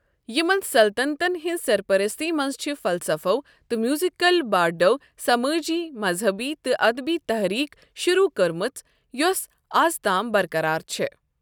یمن سلطنتن ہٕنٛزِ سرپرستی منٛز چھ فلسفو تہٕ میوزیکل بارڈو سمٲجی، مذہبی تہٕ ادبی تحریک شروٗع کٔرمٕژ یۄس آز تام برقرار چھ۔